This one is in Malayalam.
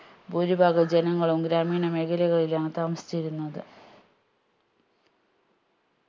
ഭൂരിഭാഗം ജനങ്ങളും ഗ്രാമീണ മേഖലകളിലാണ് താമസിച്ചിരുന്നത്